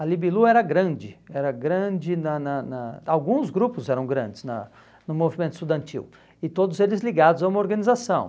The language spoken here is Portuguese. era grande era grande na na na, alguns grupos eram grandes na no movimento estudantil, e todos eles ligados a uma organização.